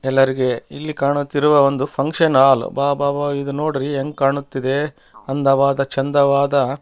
ಎಲ್ಲರಿಗೆ ಇಲ್ಲಿ ಕಾಣುತ್ತಿರುವ ಒಂದು ಫಂಕ್ಷನ್ ಹಾಲ್ ಅಬ್ಬಬ್ಬ ಇದು ನೋಡ್ರಿ ಹೆಂಗ್ ಕಾಣುತ್ತಿದೆ ಅಂದವಾದ ಚಂದವಾದ --